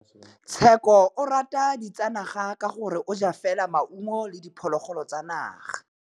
Tshekô o rata ditsanaga ka gore o ja fela maungo le diphologolo tsa naga.